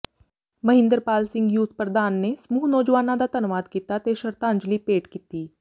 Mahinderpal Singh youth ਪ੍ਰਧਾਨ ਨੇ ਸਮੂਹ ਨੌਜਵਾਨਾਂ ਦਾ ਧੰਨਵਾਦ ਕੀਤਾ ਤੇ ਸ਼ਰਧਾਂਜਲੀ ਭੇਟ ਕੀਤੀ